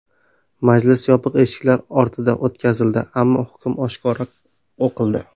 Majlis yopiq eshiklar ortida o‘tkazildi, ammo hukm oshkora o‘qildi.